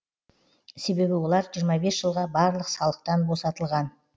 себебі олар жиырма бес жылға барлық салықтан босатылған